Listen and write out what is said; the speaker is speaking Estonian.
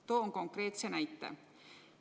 Toon konkreetse näite.